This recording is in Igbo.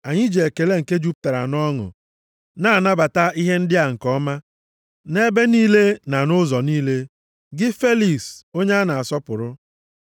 Anyị ji ekele nke jupụtara nʼọṅụ na-anabata ihe ndị a nke ọma, nʼebe niile na nʼụzọ niile, gị Feliks, onye a na-asọpụrụ.